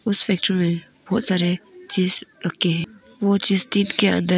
इस पिक्चर में बहोत सारे चीज़ रखें हैं वो चीज़ के अंदर है।